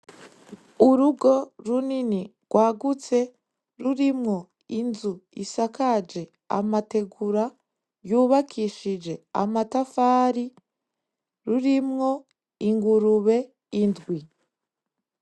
Urugo runini rwagutse rurimwo inzu isakaje amategura yubakishije amatafari rurimwo ingurube indwi.